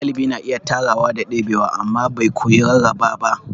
Dalibi na iya tarawa da debewa amma bai koyi rarraba ba.